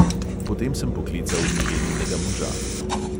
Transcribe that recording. Potem sem poklical mileninega moža.